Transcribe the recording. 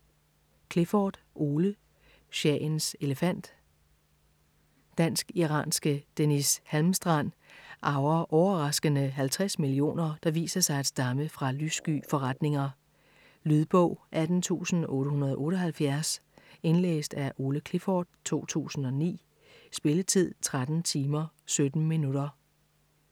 Clifford, Ole: Shahens elefant Dansk-iranske Deniz Halmstrand arver overraskende 50 millioner, der viser sig at stamme fra lyssky forretninger. Lydbog 18878 Indlæst af Ole Clifford, 2009. Spilletid: 13 timer, 17 minutter.